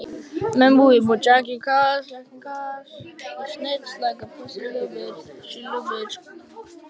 Á þessum tíma var allur gjaldeyrir skammtaður.